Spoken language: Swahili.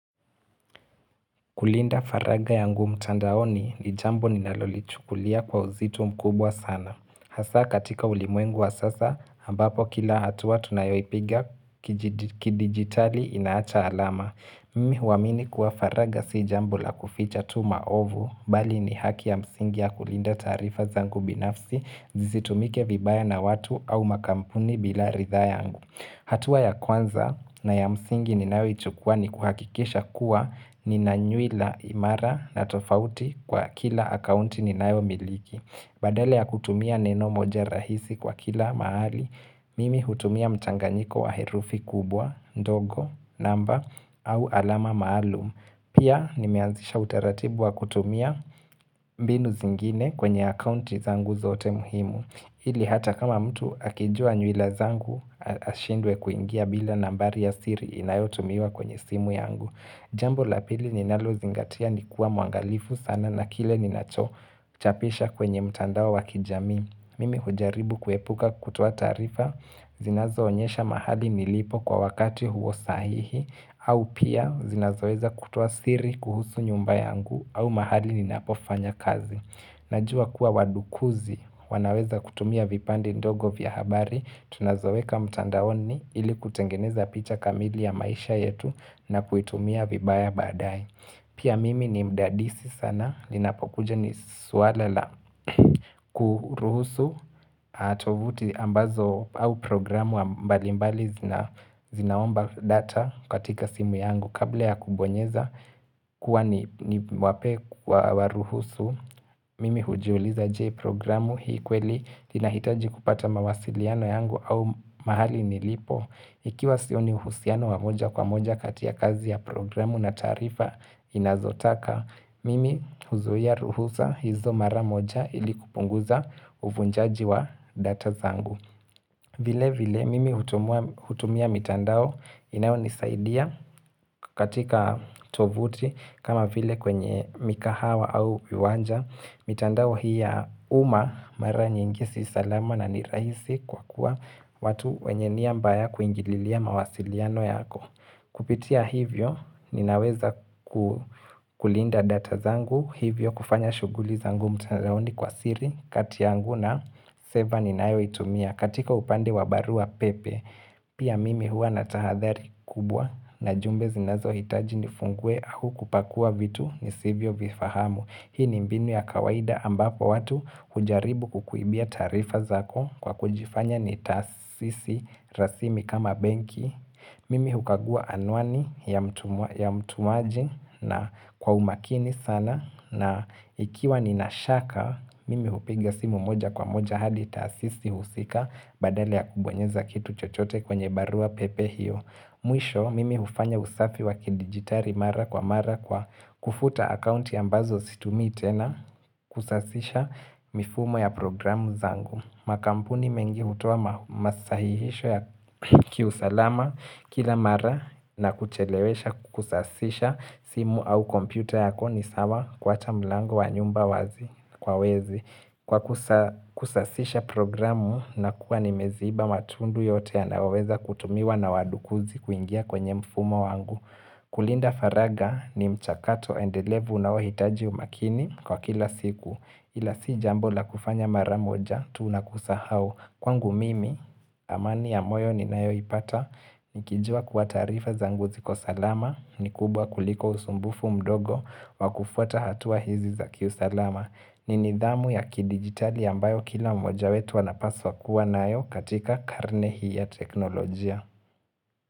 Kulinda faragha yangu mtandaoni ni jambo ninalolichukulia kwa uzito mkubwa sana. Hasa katika ulimwengu wa sasa, ambapo kila hatua tunayoipiga kidigitali inaacha alama. Mimi huamini kuwa faraga si jambo la kuficha tu maovu, bali ni haki ya msingi ya kulinda taarifa zangu binafsi, zisitumike vibaya na watu au makampuni bila ritha yangu. Hatua ya kwanza na ya msingi ninayoichukua ni kuhakikisha kuwa nina nyuila imara na tofauti kwa kila akaunti ninayo miliki Badala ya kutumia neno moja rahisi kwa kila mahali, mimi hutumia mchanganyiko wa herufi kubwa, ndogo, namba, au alama maalum. Pia nimeanzisha utaratibu wa kutumia mbinu zingine kwenye akaunti zangu zote muhimu ili hata kama mtu akijua nyuila zangu ashindwe kuingia bila nambari ya siri inayotumiwa kwenye simu yangu Jambo la pili ninalozingatia ni kuwa mwangalifu sana na kile ninachochapisha kwenye mtandao wa kijamii. Mimi hujaribu kuepuka kutuoa taarifa zinazoonyesha mahali nilipo kwa wakati huo sahihi au pia zinazoweza kutuoa siri kuhusu nyumba yangu au mahali ninapofanya kazi Najua kuwa wadukuzi, wanaweza kutumia vipande ndogo vya habari, tunazoweka mtandaoni ili kutengeneza picha kamili ya maisha yetu na kuitumia vibaya baadae. Pia mimi ni mdadisi sana linapokuja ni swala la kuruhusu tovuti ambazo au programu mbali mbali zinaomba data katika simu yangu kabla ya kubonyeza kuwa niwapae wa ruhusu mimi hujiuliza je programu hii kweli inahitaji kupata mawasiliano yangu au mahali nilipo Ikiwa sioni uhusiano wa moja kwa moja kati ya kazi ya programu na taarifa inazotaka, mimi huzuia ruhusa hizo mara moja ili kupunguza uvunjaji wa data zangu. Vile vile mimi hutumia mitandao inayo nisaidia katika tovuti kama vile kwenye mikahawa au uwanja. Mitandao hii ya uma mara nyingi si salama na ni rahisi kwa kuwa watu wenye nia mbaya kuingililia mawasiliano yako. Kupitia hivyo ninaweza kulinda data zangu hivyo kufanya shuguli zangu mtandaoni kwa siri kati yangu na server ninayoitumia. Na katika upande wa barua pepe, pia mimi hua natahadhari kubwa na jumbe zinazo hitaji nifungue au kupakua vitu nisivyo vifahamu. Hii ni mbinu ya kawaida ambapo watu hujaribu kukuibia taarifa zako kwa kujifanya ni tasisi rasimi kama benki. Mimi hukagua anwani ya mtumaji na kwa umakini sana na ikiwa ninashaka, mimi hupiga simu moja kwa moja hadi taasisi husika. Badala ya kubonyeza kitu chochote kwenye barua pepe hiyo Mwisho, mimi hufanya usafi wa kidigitali mara kwa mara kwa kufuta akaunti ambazo situmii itena Kusasisha mifumo ya programu zangu. Makampuni mengi hutoa masahihisho ya kiusalama kila mara na kuchelewesha kusasisha simu au kompyuta yako ni sawa kuacha mlango wa nyumba wazi kwa wezi Kwa kusasisha programu na kuwa nimeziba matundu yote yanayoweza kutumiwa na wadukuzi kuingia kwenye mfumo wangu kulinda faraga ni mchakato endelevu unaohitaji umakini kwa kila siku Ila si jambo la kufanya mara moja tuu na kusahau Kwangu mimi amani ya moyo ninayoipata Nikijua kuwa tarifa zangu ziko salama ni kubwa kuliko usumbufu mdogo wa kufuata hatua hizi za kiusalama ni nidhamu ya kidigitali ambayo kila mmoja wetu anapaswa kuwa nayo katika karne hii ya teknolojia.